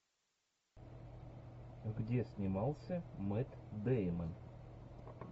где снимался мэтт деймон